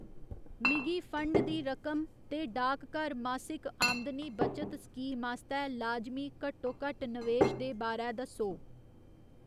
मिगी फंड दी रकम ते डाकघर मासिक आमदनी बचत स्कीम आस्तै लाजमी घट्टोघट्ट नवेश दे बारै दस्सो।